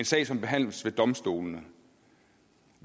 sag som behandles ved domstolene